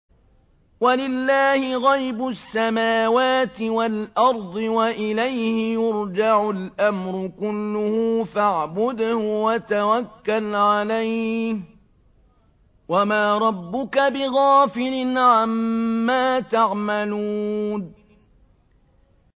وَلِلَّهِ غَيْبُ السَّمَاوَاتِ وَالْأَرْضِ وَإِلَيْهِ يُرْجَعُ الْأَمْرُ كُلُّهُ فَاعْبُدْهُ وَتَوَكَّلْ عَلَيْهِ ۚ وَمَا رَبُّكَ بِغَافِلٍ عَمَّا تَعْمَلُونَ